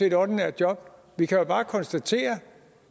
et ordinært job vi kan bare konstatere